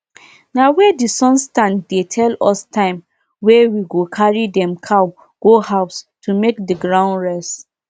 na because the farmers wey dey nearby talk say dem cow give better result na im make we change make we change breed.